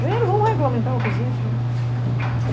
Vamos regulamentar o que existe, né?